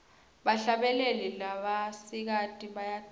bahlabeli labasikati bayacule